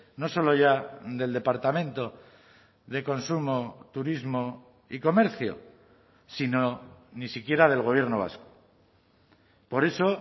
no solo ya del departamento de consumo turismo y comercio sino ni siquiera del gobierno vasco por eso